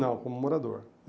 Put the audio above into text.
Não, como morador.